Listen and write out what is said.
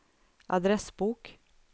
adressbok